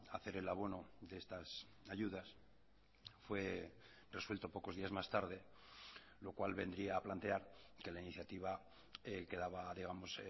a hacer el abono de estas ayudas fue resuelto pocos días más tarde lo cual vendría a plantear que la iniciativa quedaba digamos